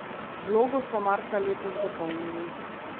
Vlogo so marca letos dopolnili.